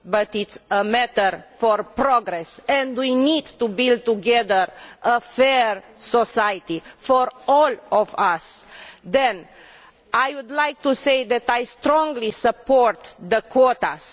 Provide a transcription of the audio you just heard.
it is also a matter for progress and we need to build together a fair society for all of us. Next, I would like to say that I strongly support quotas.